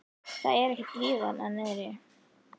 Það er ekkert líf þarna niðri.